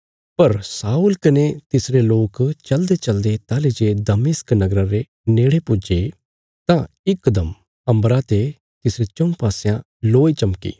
पर शाऊल कने तिसरे लोक चलदेचलदे ताहली जे दमिश्क नगरा रे नेड़े पुज्जे तां इकदम अम्बरा ते तिसरे चऊँ पासयां लोय चमकी